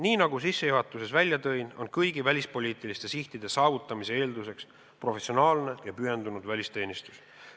Nii nagu ma sissejuhatuses välja tõin, on kõigi välispoliitiliste sihtide saavutamise eelduseks professionaalne ja pühendunud välisteenistus.